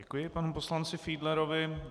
Děkuji panu poslanci Fiedlerovi.